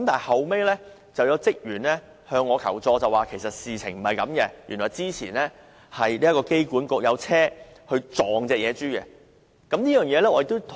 後來，有職員向我求助，指事實並非這樣，原來之前香港機場管理局曾有人用車撞野豬。